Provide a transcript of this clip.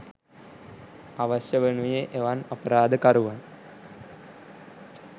අවශ්‍ය වනුයේ එවන් අපරාධ කරුවන්